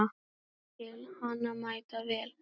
Já, ég skil hana mæta vel.